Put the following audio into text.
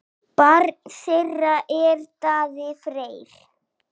Barn þeirra er Darri Freyr.